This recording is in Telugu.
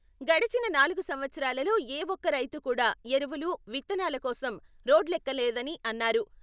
గడచిన నాలుగు సంవత్సరాలలో ఏ ఒక్క రైతు కూడా ఎరువులు, విత్తనాల కోసం రోడ్లెక్కలేదని అన్నారు.